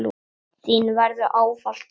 Þín verður ávallt saknað.